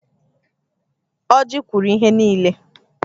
Ọjị kwuru ihe nille